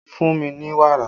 Fún mi ní wàrà!